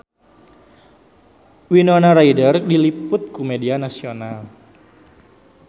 Winona Ryder diliput ku media nasional